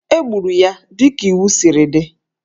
E gburu ya dịka iwu siri dị